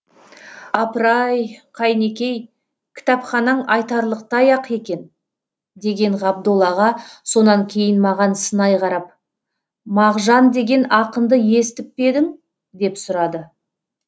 апыр ай қайнекей кітапханаң айтарлықтай ақ екен деген ғабдол аға сонан кейін маған сынай қарап мағжан деген ақынды естіп пе едің деп сұрады